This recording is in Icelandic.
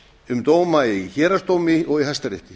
um dóma héraðsdómi og í hæstarétti